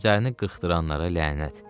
Üzlərini qırxdıranlara lənət.